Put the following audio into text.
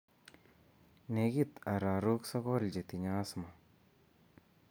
Nekit ararook sogol chetinye asthma